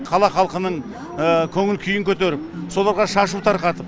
қала халқының көңіл күйін көтеріп соларға шашу тарқатып